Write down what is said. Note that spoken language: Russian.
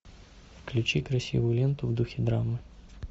включи красивую ленту в духе драмы